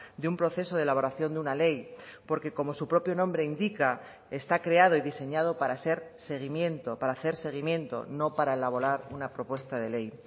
de un proceso de elaboración de una ley porque como su propio nombre indica está creado y diseñado para ser seguimiento para hacer seguimiento no para elaborar una propuesta de ley